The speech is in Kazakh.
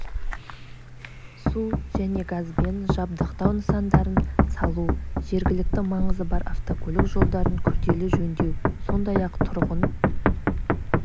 су және газбен жабдықтау нысандарын салу жергілікті маңызы бар автокөлік жолдарын күрделі жөндеу сондай-ақ тұрғын